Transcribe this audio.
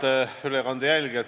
Head ülekande jälgijad!